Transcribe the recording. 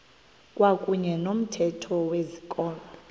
kwakuyne nomthetho wezikolo